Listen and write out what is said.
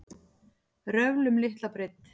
Röfl um litla breidd